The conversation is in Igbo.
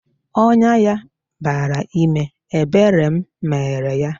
Ọnyá ya bara ime, ebere m mere yá